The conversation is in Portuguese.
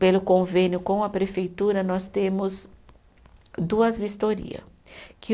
Pelo convênio com a prefeitura, nós temos duas vistoria que.